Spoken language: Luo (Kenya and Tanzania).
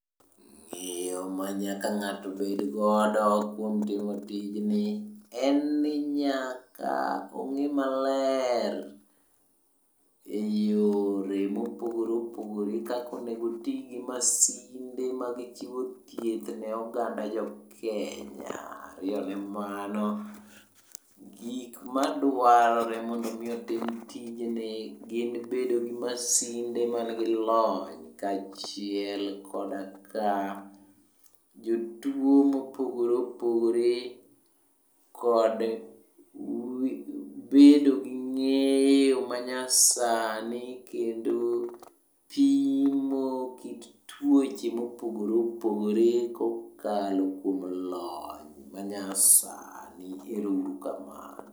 Ng'eyo manyaka ng'ato bedgodo kuom timo tijni en ni nyaka ong'i maler e yore mopogore opogore kaka onego oti gi masinde mag chiwo thieth ne oganda Jokenya. Omiyo mano, gik ma dwarore mondo omi otim tijni en bedo gi masinde manigi lony kaachiel koda ka jotuwo mopogore opogore kod bedo gi ng'eyo manyasani kendo pimo kit tuoche mopogore opogore kokalo kuom lony manyasani. Ero uru kamano.